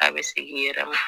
A bɛ segin i yɛrɛ ma